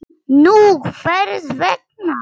Nú, hvers vegna?